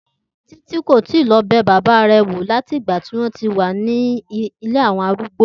Títì kò tíì lo̩ be̩ bàbá rè̩ wò láti ìgbà tí ó ti wà nílé àwo̩n arúgbó